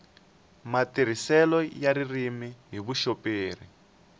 matirhiselo ya ririmi hi vuxoperi